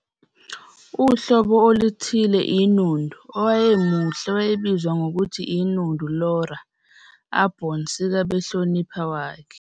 Uhlobo oluthile inundu owayemuhle wayebizwa ngokuthi inundu Lora Aborn sika behlonipha wakhe.